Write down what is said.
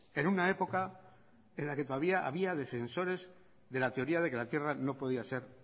en una época en la que todavía había defensores de la teoría de que la tierra no podía ser